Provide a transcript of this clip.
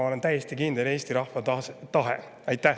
Ma olen täiesti kindel selles.